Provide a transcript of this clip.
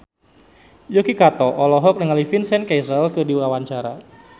Yuki Kato olohok ningali Vincent Cassel keur diwawancara